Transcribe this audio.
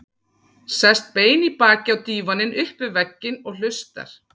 Sest bein í baki á dívaninn upp við vegginn og hlustar.